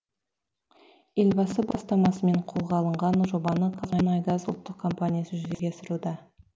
елбасы бастамасымен қолға алынған жобаны қазмұнайгаз ұлттық компаниясы жүзеге асыруда